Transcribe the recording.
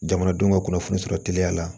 Jamanadenw ka kunnafoni sɔrɔ teliya la